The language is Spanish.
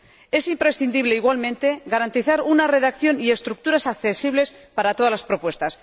Es imprescindible, igualmente, garantizar una redacción y unas estructuras accesibles para todas las propuestas.